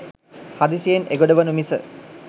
හදිසියෙන් එගොඩ වනු මිස